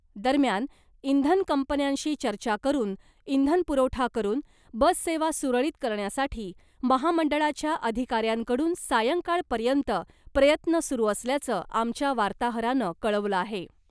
दरम्यान , इंधन कंपन्यांशी चर्चा करून , इंधन पुरवठा करून , बससेवा सुरळीत करण्यासाठी महामंडळाच्या अधिकाऱ्यांकडून सायंकाळपर्यंत प्रयत्न सुरू असल्याचं , आमच्या वार्ताहरानं कळवलं आहे .